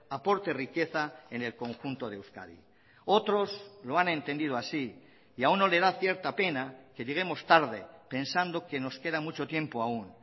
aporte riqueza en el conjunto de euskadi otros lo han entendido así y a uno le da cierta pena que lleguemos tarde pensando que nos queda mucho tiempo aún